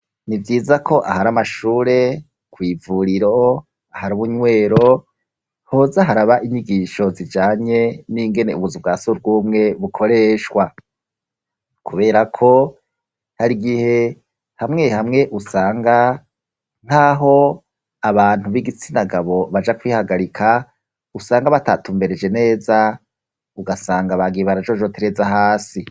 Ni vyiza ko ahari amashure, kw'ivuriro ahari ubunywero, hoza haraba inyigisho zijanye n'ingene ubuzu bwa surwumwe bukoreshwa. Kubera ko, hari igihe hamwe hamwe usanga nk'aho abantu b'igitsina gabo baja kwihagarika, usanga batatumbereje neza ugasanga bagiye barajojotereza hasi.